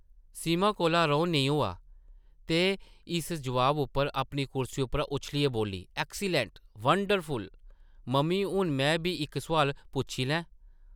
सीमा कोला रौह्न नेईं होआ, ते इस जवाब उप्पर अपनी कुर्सी उप्परा उच्छलियै बोल्ली, ‘‘ ऐक्सीलैंट ! वंडरफुल ! मम्मी हून में बी इक सोआल पुच्छी लैं ?’’